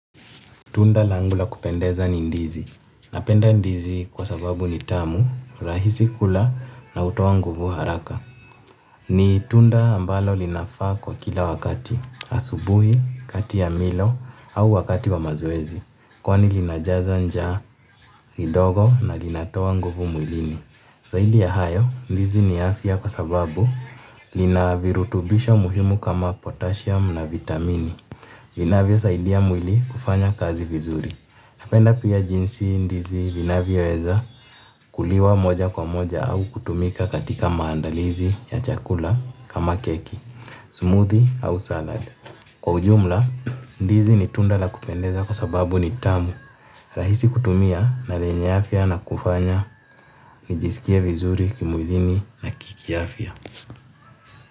Tunda langu la kupendeza ni ndizi. Napenda ndizi kwa sababu ni tamu rahisi kula na hutoa nguvu hraka. Ni tunda ambalo linafaa kwa kila wakati, asubuhi, kati ya milo, au wakati wa mazoezi. Kwani linajaza njaa ni ndogo na linatoa nguvu mwilini. Zaidi ya hayo, ndizi ni afya kwa sababu lina virutubisho muhimu kama potashiam na vitamini. Linavyosaidia mwili kufanya kazi vizuri. Napenda pia jinsi ndizi linavyoweza kuliwa moja kwa moja au kutumika katika maandalizi ya chakula kama keki, smoothie au salad. Kwa ujumla, ndizi ni tunda la kupendeza kwa sababu ni tamu rahisi kutumia na lenye afya na kufanya nijisikie vizuri kimudini na kikiafya.